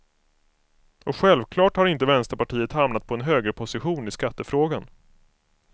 Och självklart har inte vänsterpartiet hamnat på en högerposition i skattefrågan.